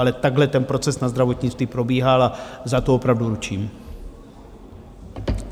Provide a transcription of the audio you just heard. Ale takhle ten proces na zdravotnictví probíhal a za to opravdu ručím.